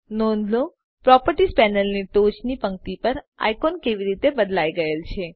નોંધ લો પ્રોપર્ટીઝ પેનલની ટોચની પંક્તિ પર આઇકોન કેવી રીતે બદલાય ગયેલ છે